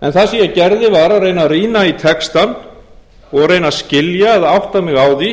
en það sem ég gerði var að reyna að rýna í texta og reyna að skilja eða átta mig á því